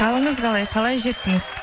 қалыңыз қалай қалай жеттіңіз